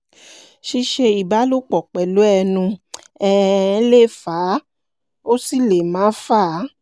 ṣíṣe ìbálòpọ̀ pẹ̀lú ẹnu um le fà á ó sì le má fà á